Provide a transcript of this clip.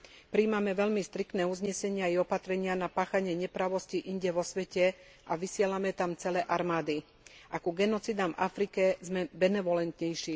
Prijímame veľmi striktné uznesenia i opatrenia na páchanie neprávosti inde vo svete a vysielame tam celé armády, a ku genocídam v Afrike sme benevolentnejší.